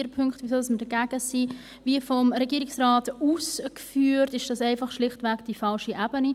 Vier Punkte, warum wir dagegen sind: Wie vom Regierungsrat ausgeführt, ist dies schlichtweg die falsche Ebene.